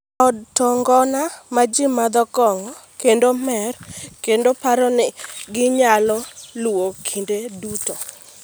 E od to ngona ma ji madhe kong'o kendo mer, kendo aparo ni ginyalo luwa kinde duto.